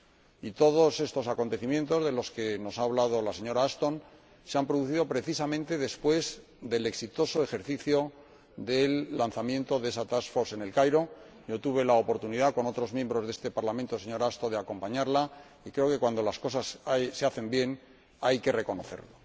Y todos estos acontecimientos, de los que nos ha hablado la señora Ashton, se han producido precisamente después del exitoso ejercicio del lanzamiento de esa task force en El Cairo —yo tuve la oportunidad, con otros miembros de este Parlamento, señora Ashton, de acompañarla, y creo que cuando las cosas se hacen bien, hay que reconocerlo—.